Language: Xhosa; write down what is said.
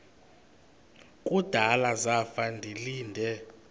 kudala zafa ndilinde